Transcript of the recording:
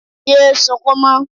Yé sukún mọ́